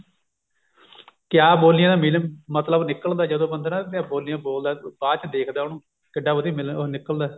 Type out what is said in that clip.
ਕਿਆ ਬੋਲੀਆਂ ਦਾ ਮਤਲਬ ਨਿੱਕਲਦਾ ਜਦੋਂ ਬੰਦੇ ਬੋਲਦਾ ਬਾਅਦ ਚ ਦੇਖਦਾ ਬਾਅਦ ਚ ਦੇਖਦਾ ਉਹਨੂੰ ਕਿੱਡਾ ਵਧੀਆ ਮਿਲਣ ਉਹ ਨਿਕਲਦਾ